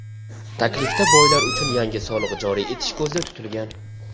Taklifda boylar uchun yangi soliq joriy etish ko‘zda tutilgan.